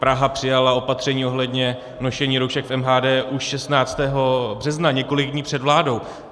Praha přijala opatření ohledně nošení roušek v MHD už 16. března, několik dní před vládou.